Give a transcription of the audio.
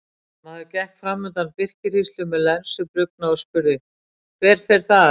Maður gekk fram undan birkihríslu með lensu brugðna og spurði:-Hver fer þar?